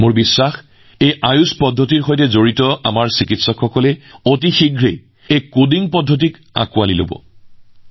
মোৰ বিশ্বাস যে এই আয়ুষ ব্যৱস্থাসমূহৰ সৈতে জড়িত আমাৰ চিকিৎসকসকলে এই কডিং অতি সোনকালে গ্ৰহণ কৰিব